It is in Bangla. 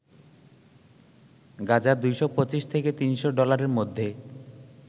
গাজা ২২৫ থেকে ৩০০ ডলারের মধ্যে